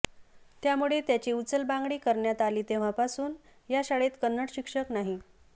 त्यामुळे त्याची उचलबांगडी करण्यात आली तेव्हापासून या शाळेत कन्नड शिक्षक नाही